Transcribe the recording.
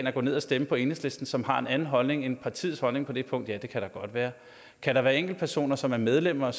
at gå ned og stemme på enhedslisten og som har en anden holdning end partiets holdning på det punkt ja det kan der godt være kan der være enkeltpersoner som er medlemmer